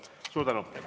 Suur tänu!